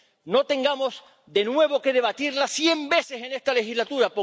¡No tengamos de nuevo que debatirla cien veces en esta legislatura!